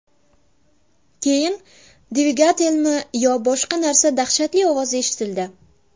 Keyin dvigatelmi yo boshqa narsa dahshatli ovozi eshitildi.